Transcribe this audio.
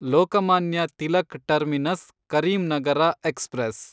Lokmanya Tilak terminus Karimnagar express